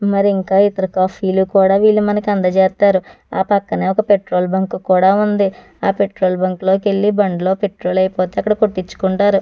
మరి ఇంకా ఇతర కాఫీలు కూడా వీళ్ళు మనకు అందజేస్తారు ఆ పక్కనే ఒక పెట్రోల్ బంకు కూడా ఉంది పెట్రోల్ బంకు లో కెళ్ళి పెట్రోలు అయిపోతే అక్కడ కొట్టిచ్చుకుంటారు.